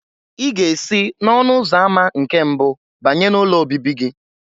Ị ga-esi n'ọnụ ụzọ ámá nke mbụ banye n'ụlọ obibi gị.